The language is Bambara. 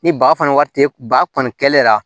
Ni ba fana wari tɛ ba kɔni kɛlen